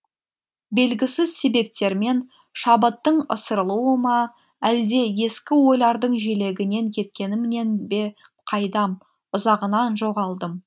белгісіз себептермен шабыттың ысырылуы ма әлде ескі ойлардың желегінен кеткенімнен бе қайдам ұзағынан жоғалдым